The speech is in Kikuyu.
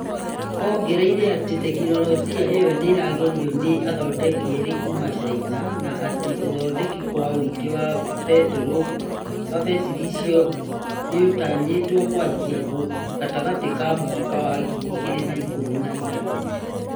Ongereire atĩ tekinolojia ĩyo nĩĩragerio nĩ athodeki erĩ kuma China na atĩ ũthodeki kwa ũingĩ wa betri icio nĩũtanyĩtwo kwanjia gatagatĩ ka mwaka wa ngiri igĩrĩ na ikũmi na inyanya